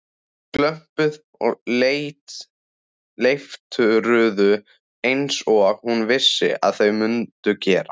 Glömpuðu og leiftruðu einsog hún vissi að þau mundu gera.